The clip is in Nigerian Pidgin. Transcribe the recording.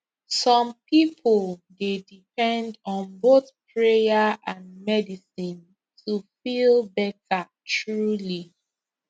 some people dey depend on both prayer and medicine to feel better truly